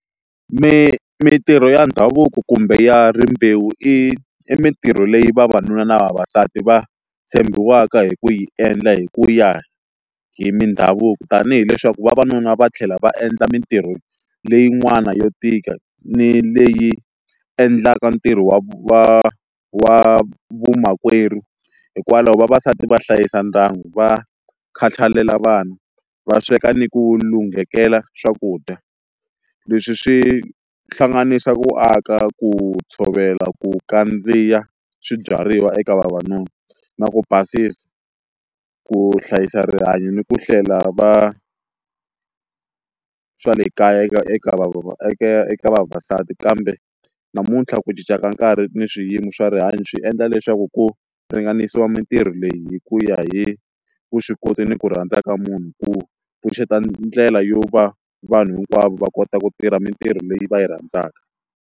Mintirho ya ndhavuko kumbe ya rimbewu i mintirho leyi vavanuna na vavasati va tshembiwaka hi ku yi endla hi ku ya hi mindhavuko tanihi leswaku vavanuna va tlhela va endla mintirho leyin'wana yo tika ni leyi endlaka ntirho wa vu wa wa vamakwerhu hikwalaho vavasati va hlayisa ndyangu va khatalela vana va sweka ni ku lunghekela swakudya leswi swi hlanganisa ku aka ku tshovela ku kandziya swibyariwa eka vavanuna na ku basisa ku hlayisa rihanyo ni ku hlela va swa le kaya eka eka eka vavasati kambe namuntlha ku cinca ka nkarhi ni swiyimo swa rihanyo swi endla leswaku ku ringanisiwa mintirho leyi hi ku ya hi vuswikoti ni ku rhandza ka munhu ku pfuxeta ndlela yo va vanhu hinkwavo va kota ku tirha mintirho leyi va yi rhandzaka.